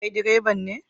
Kai direban ne?